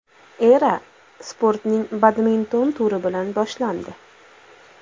Era sportning badminton turi bilan boshlandi.